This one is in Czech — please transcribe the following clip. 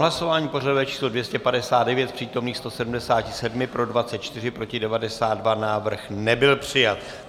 Hlasování pořadové číslo 259, z přítomných 177 pro 24, proti 92, návrh nebyl přijat.